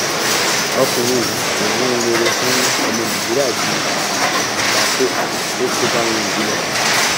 ọkùnrin yìí kò ní ohun rere fún ọmọ nàìjíríà ju àgbákò tó kó bá wọn yìí lọ